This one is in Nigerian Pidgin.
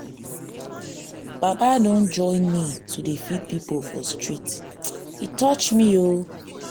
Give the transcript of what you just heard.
baba don join me to dey feed pipo for street e touch me o.